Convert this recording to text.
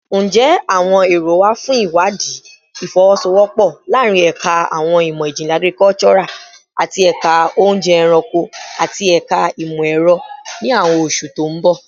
Njẹ awọn ero wa fun iwadii ifowosowopo laarin Ẹka Awọn imọ-jinlẹ Agricultural ati Ẹka Ounje Eranko ati Ẹka Imọ-ẹrọ ni awọn oṣu to n bọ?